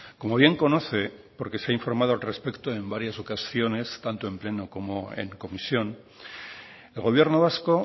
como bien conoce porque se ha informado al respecto en varias ocasiones tanto en pleno como en comisión el gobierno vasco